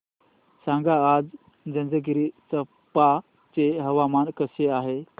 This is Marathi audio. सांगा आज जंजगिरचंपा चे हवामान कसे आहे